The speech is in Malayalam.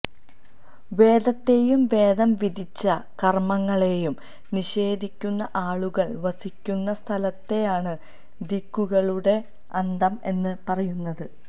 വേദത്തേയും വേദം വിധിച്ച കര്മങ്ങളെയും നിഷേധിക്കുന്ന ആളുകള് വസിക്കുന്ന സ്ഥലത്തെയാണ് ദിക്കുകളുടെ അന്തം എന്ന് പറയുന്നത്